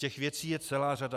Těch věcí je celá řada.